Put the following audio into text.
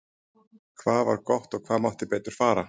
Hvað var gott og hvað mátti betur fara?